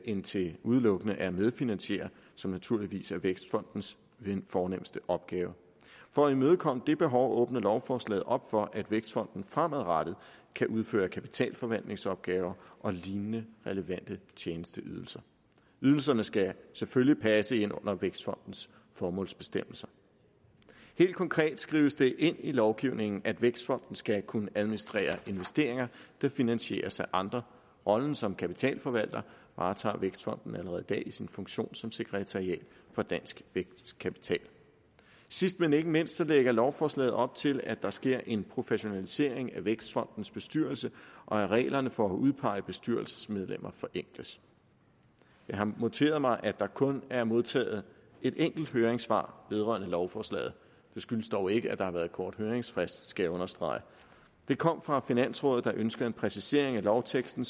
end til udelukkende at medfinansiere som naturligvis er vækstfondens fornemste opgave for at imødekomme det behov åbner lovforslaget op for at vækstfonden fremadrettet kan udføre kapitalforvaltningsopgaver og lignende relevante tjenesteydelser ydelserne skal selvfølgelig passe ind under vækstfondens formålsbestemmelser helt konkret skrives det ind i lovgivningen at vækstfonden skal kunne administrere investeringer der finansieres af andre rollen som kapitalforvalter varetager vækstfonden allerede i dag i sin funktion som sekretariat for dansk vækstkapital sidst men ikke mindst lægger lovforslaget op til at der sker en professionalisering af vækstfondens bestyrelse og at reglerne for at udpege bestyrelsesmedlemmer forenkles jeg har noteret mig at der kun er modtaget et enkelt høringssvar vedrørende lovforslaget det skyldes dog ikke at der har været kort høringsfrist skal jeg understrege det kom fra finansrådet der ønskede en præcisering af lovteksten